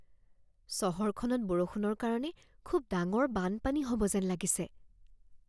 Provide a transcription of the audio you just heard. চহৰখনত বৰষুণৰ কাৰণে খুব ডাঙৰ বানপানী হ'ব যেন লাগিছে।